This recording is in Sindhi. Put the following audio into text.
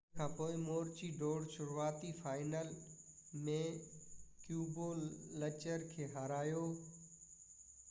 ان کانپوءِ مروچي ڊور شروعاتي فائنل ۾ ڪيبولچر کي هارايو